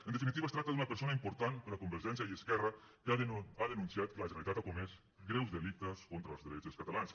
en definitiva es tracta d’una persona important per a convergència i esquerra que ha denunciat que la generalitat ha comès greus delictes contra els drets dels catalans